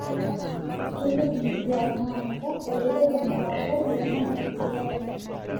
Keyieu inkituak naanuta eretoto napaashari tenebaya sipitali.